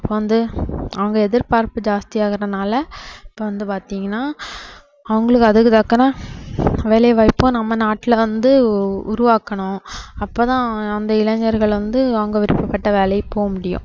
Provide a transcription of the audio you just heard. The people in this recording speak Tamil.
இப்போ வந்து அவங்க எதிர்பார்ப்பு ஜாஸ்தியாகுறதுனால இப்போ வந்து பாத்தீங்கன்னா அவங்களுக்கு அதுக்கு தக்கன வேலைவாய்ப்பும் நம்ம நாட்டுல வந்து உ~ உருவாக்கணும் அப்போ தான் அந்த இளைஞர்கள் வந்து அவங்க விருப்பப்பட்ட வேலைக்கு போக முடியும்